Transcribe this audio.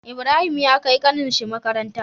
Ibrahim ya kai ƙanin shi makaranta